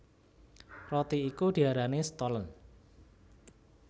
Roti iku diarani Stollen